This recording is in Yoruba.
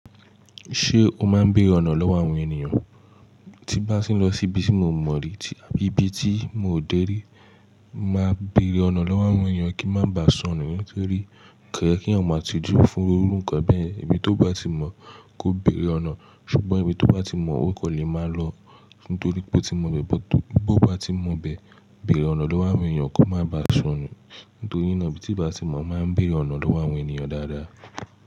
Ṣé o máa ń béèrè ọ̀nà lọ́wọ́ àwọn ènìyàn? Tí n bá tì n lọ sí ibi tí mo o mọ̀ rí, ibi tí mo ò dé rí, máa béèrè ọ̀nà lọ́wọ́ àwọn ènìyàn kí n má ba sọnù. Nítorí kò yẹ kí èèyàn máa tí jù fún irú nkàn bẹ́ẹ̀. Ibi tí ó bá ti mọ̀ kò béèrè ọ̀nà. Ṣùgbọ́n ibi tí ó bá ti mọ̀ o kọ́ le máa lọ. Nítorí pé o tí mo bẹ but to bo o ba ti mọ bè, béèrè ọ̀nà lọ́wọ́ àwọn èèyàn kó má ba sọnù. Nítorí náà ibi tíi bá ti mọ̀ mo máa ń béèrè ọ̀nà lọ́wọ́ àwọn ènìyàn dáadáa.